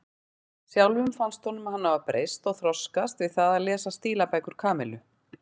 Sjálfum fannst honum hann hafa breyst og þroskast við það að lesa stílabækur Kamillu.